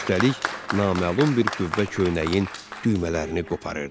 Üstəlik, naməlum bir qüvvə köynəyin düymələrini qoparırdı.